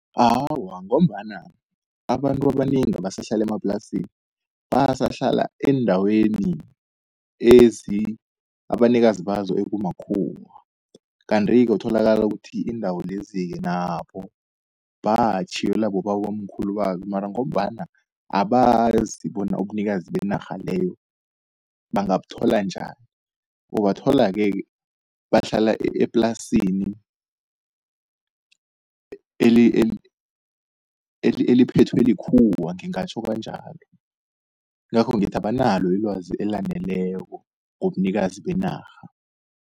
Awa, ngombana abantu abanengi abasahlala emaplasini, basahlala eendaweni abanikazi bazo ekumakhuwa. Kanti-ke utholakala ukuthi iindawo lezi-ke nabo batjhiyelwa bobabomkhulu babo, mara ngombana abazi bona ubunikazi benarha leyo bangabuthola njani. Ubathola-ke bahlala eplasini eliphethwe likhuwa ngingatjho kanjalo. Ingakho ngithi abanalo ilwazi elaneleko ngobunikazi benarha.